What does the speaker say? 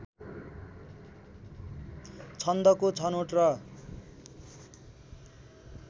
छन्दको छनोट र